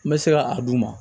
N bɛ se ka a d'u ma